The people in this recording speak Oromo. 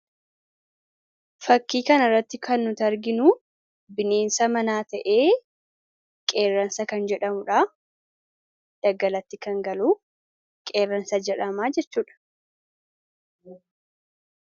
fakkii kan irratti kan nut arginu bineensa manaa ta'ee qeerransa kan jedhamudha daggalatti kan galuu qeerransa jedhamaa jechuudha